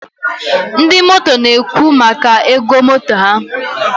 ndị motor na-ekwu maka ego motor ha.